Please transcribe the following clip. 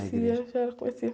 A igreja.im, eu já conhecia.